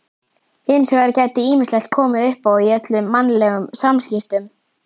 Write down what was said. Hins vegar geti ýmislegt komið uppá í öllum mannlegum samskiptum.